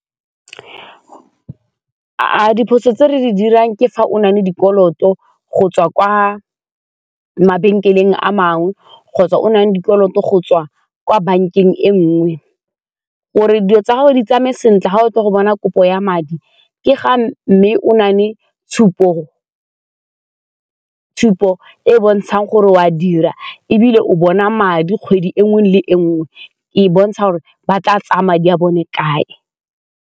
A diphoso tse re di dirang ke fa o nale dikoloto go tswa kwa mabenkeleng a mangwe kgotsa o nang le dikoloto go tswa kwa bankeng e nngwe, gore dilo tsa gago di tsamae sentle ga o tlile go bona kopo ya madi ke ga mme o na le tshupo e e bontshang gore o a dira ebile o bona madi kgwedi e nngwe le e nngwe, e bontsha gore ba tla tsaya madi a bone kae.